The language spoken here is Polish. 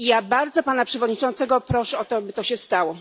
Ja bardzo Pana Przewodniczącego proszę o to, aby tak się stało.